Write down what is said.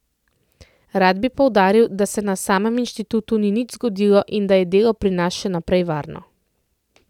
Rad bi poudaril, da se na samem inštitutu ni nič zgodilo in da je delo pri nas še naprej varno.